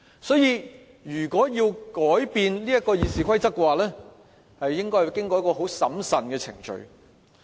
所以，如果要改變《議事規則》，應該要經過一個很審慎的程序。